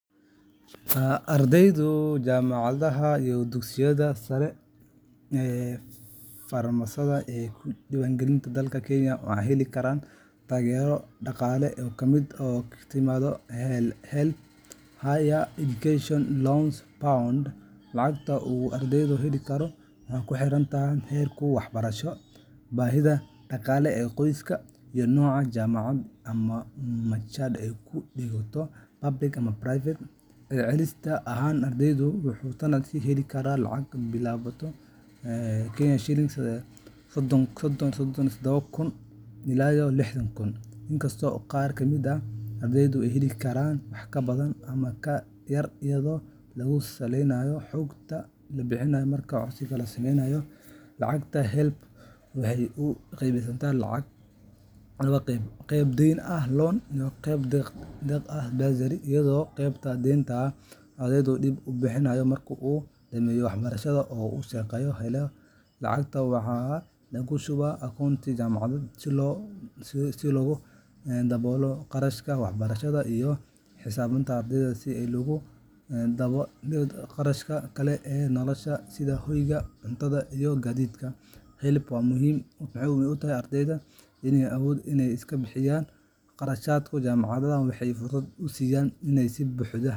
Ardayda jaamacadaha iyo dugsiyada sare ee farsamada ee ka diiwaangashan dalka Kenya waxay heli karaan taageero dhaqaale oo ka timaadda HELB Higher Education Loans Board. Lacagta uu ardaygu heli karo waxay ku xiran tahay heerka waxbarasho, baahida dhaqaale ee qoyska, iyo nooca jaamacad ama machad ee uu dhigto public ama private. Celcelis ahaan, ardaygu wuxuu sanadkii heli karaa laga bilaabo KSh 37,000 to KSh 60,000, inkastoo qaar ka mid ah ardayda ay heli karaan wax ka badan ama ka yar iyadoo lagu saleynayo xogta la bixiyo marka codsiga la sameynayo. Lacagtan HELB waxay u qaybsantaa laba qeybood: qayb deyn ah loan iyo qayb deeq ah bursary, iyadoo qaybta deynta ah ardaygu dib u bixinayo marka uu dhammeeyo waxbarashada oo uu shaqo helo. Lacagta waxaa lagu shubaa akoonka jaamacadda si loogu daboolo qarashaadka waxbarashada iyo xisaabta ardayga si loogu daboolo kharashaadka kale ee nolosha sida hoyga, cuntada, iyo gaadiidka. HELB waxay muhiim u tahay ardayda aan awoodin inay iska bixiyaan qarashaadka jaamacadda, waxayna fursad u siisaa inay si buuxda .